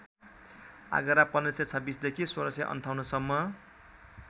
आगरा १५२६ देखि १६५८ सम्म